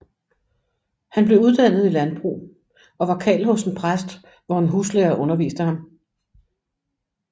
Han blev uddannet i landbrug og var karl hos en præst hvor en huslærer underviste ham